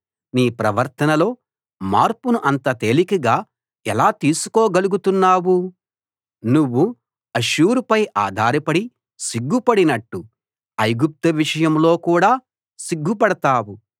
నీ ప్రవర్తనలో మార్పును అంత తేలికగా ఎలా తీసుకోగలుగుతున్నావు నువ్వు అష్షూరుపై ఆధారపడి సిగ్గుపడినట్టు ఐగుప్తు విషయంలో కూడా సిగ్గుపడతావు